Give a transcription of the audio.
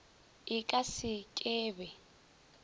e ka se ke be